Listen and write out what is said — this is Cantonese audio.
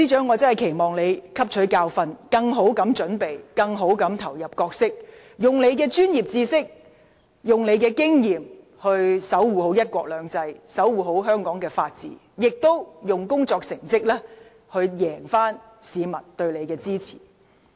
我真的期望司長汲取教訓，以更好的準備投入角色，利用她的專業知識和經驗，守護"一國兩制"及香港的法治，以工作成績贏回市民的支持。